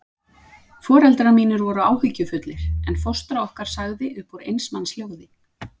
Foreldrar mínir voru áhyggjufullir, en fóstra okkar sagði upp úr eins manns hljóði